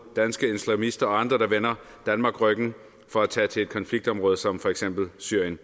danske islamister og andre der vender danmark ryggen for at tage til et konfliktområde som for eksempel syrien